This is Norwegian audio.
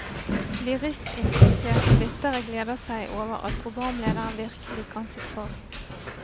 Lyrikkinteresserte lyttere gleder seg over at programlederen virkelig kan sitt fag.